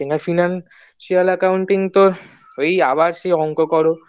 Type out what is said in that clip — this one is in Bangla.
financial accounting তোর ওই আবার সেই অংক করো